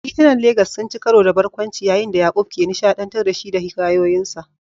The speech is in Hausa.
Titunan Legas sun ci karo da barkwanci yayin da Yaqub ke nishaɗantar da shi da hikayoyinsa.